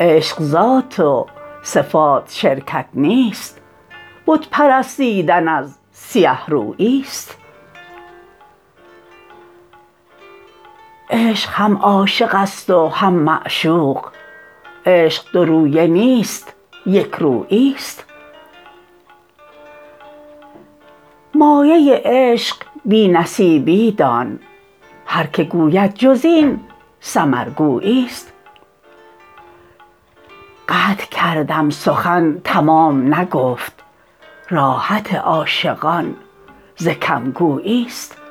عشق ذات و صفات شرکت نیست بت پرستیدن از سیه روییست عشق هم عاشقست و هم معشوق عشق دو رویه نیست یکروییست مایه عشق بی نصیبی دان هر که گوید جز این سمر گوییست قطع کردم سخن تمام نگفت راحت عاشقان ز کم گوییست